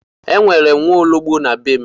E nwere m nwaologbo na be m.